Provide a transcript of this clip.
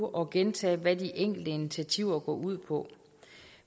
og gentage hvad de enkelte initiativer går ud på